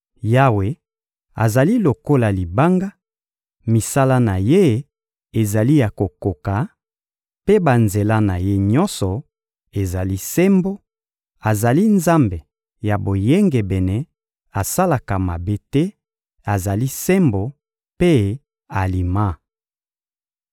Yawe azali lokola Libanga; misala na Ye ezali ya kokoka, mpe banzela na Ye nyonso ezali sembo; azali Nzambe ya boyengebene, asalaka mabe te; azali sembo mpe alima.